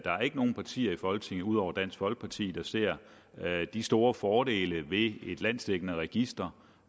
nogen partier i folketinget ud over dansk folkeparti der ser de store fordele ved et landsdækkende register